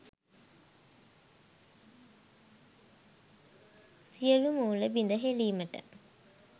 සියලූ මූල බිඳ හෙළීමට